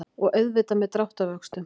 Og auðvitað með dráttarvöxtum.